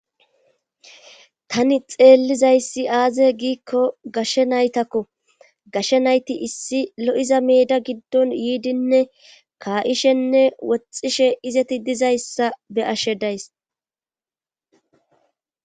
tani xeellizayssi aaze giikko gashshe naytakko gashe nayti issi lo'iza meeda giddon yiidinne kaa'ishenne woxxishe izeti dizayssa be'ashe days